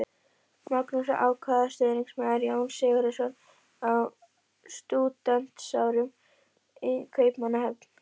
Magnús var ákafur stuðningsmaður Jóns Sigurðssonar á stúdentsárum í Kaupmannahöfn.